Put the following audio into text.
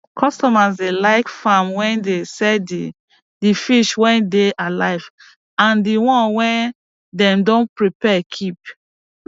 customers dey like farm wey dey sell di di fish wey dey alive and di wan wey dem don prepare keep